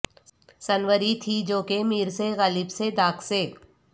سنوری تھی جو کہ میر سے غالب سے داغ سے